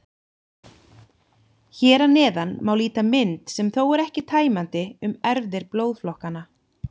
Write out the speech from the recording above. Hér að neðan má líta mynd, sem þó er ekki tæmandi, um erfðir blóðflokkanna.